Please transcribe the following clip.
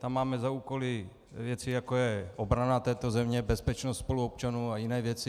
Tam máme za úkol věci, jako je obrana této země, bezpečnost spoluobčanů a jiné věci.